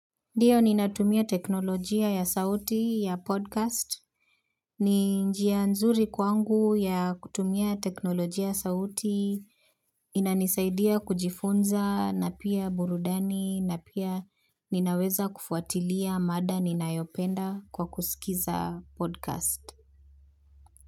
Ndiyo ninatumia teknolojia ya sauti ya podcast, ni njia nzuri kwangu ya kutumia teknolojia sauti, inanisaidia kujifunza na pia burudani na pia ninaweza kufuatilia mada ninayopenda kwa kusikiza podcast.